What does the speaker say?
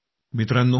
मित्रांनो